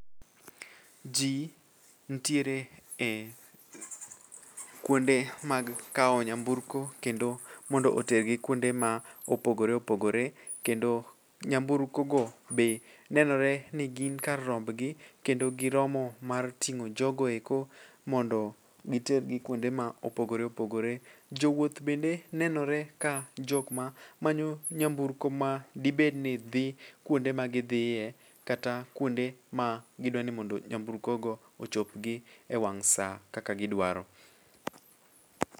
Ji ntiere e kuonde mag kawo nyamburko kendo mondo otergi kuonde ma opogore opogore kendo nyamburkogo be nenore ni gin kar rombgi kendo giromo mar ting'o jogoeko mondo gitergi kuonde ma opogore opogore. Jowuoth bende nenore ka jokma manyo nyamburko ma dibedni dhi kuonde magidhiye kata kuonde ma gidwani mondo nyamburkogo ochopgi e wang' sa kaka gidwaro.